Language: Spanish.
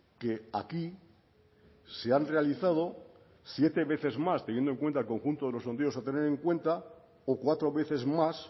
que aquí se han realizado siete veces más teniendo en cuenta el conjunto de los sondeos a tener en cuenta o cuatro veces más